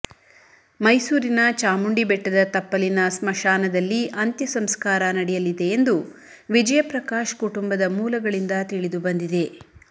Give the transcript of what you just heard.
ಮೈಸೂರಿನ ಚಾಮುಂಡಿ ಬೆಟ್ಡದ ತಪ್ಪಲಿನ ಸ್ಮಶಾನದಲ್ಲಿ ಅಂತ್ಯ ಸಂಸ್ಕಾರ ನಡೆಯಲಿದೆ ಎಂದು ವಿಜಯಪ್ರಕಾಶ್ ಕುಟುಂಬದ ಮೂಲಗಳಿಂದ ತಿಳಿದುಬಂದಿದೆ